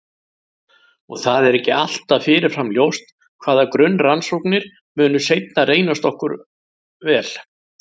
Og það er ekki alltaf fyrirfram ljóst hvaða grunnrannsóknir munu seinna reynast okkur vel.